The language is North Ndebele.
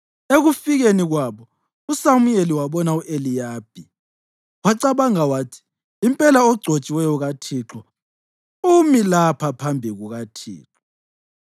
Ekufikeni kwabo uSamuyeli wabona u-Eliyabi wacabanga wathi, “Impela ogcotshiweyo kaThixo umi lapha phambi kukaThixo.”